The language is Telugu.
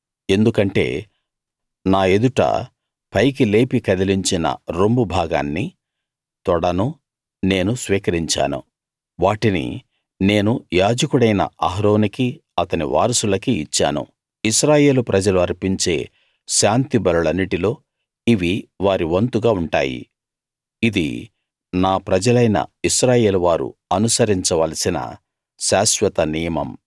ఎందుకంటే నా ఎదుట పైకి లేపి కదిలించిన రొమ్ము భాగాన్నీ తొడనూ నేను స్వీకరించాను వాటిని నేను యాజకుడైన అహరోనుకీ అతని వారసులకీ ఇచ్చాను ఇశ్రాయేలు ప్రజలు అర్పించే శాంతి బలులన్నిటిలో ఇవి వారి వంతుగా ఉంటాయి ఇది నా ప్రజలైన ఇశ్రాయేల్ వారు అనుసరించవలసిన శాశ్వత నియమం